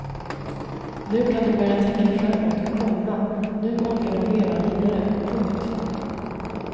Nu kan de börja tänka framåt, komma nu orkar de leva vidare. punkt